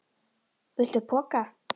Viltu poka?